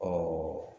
Ɔ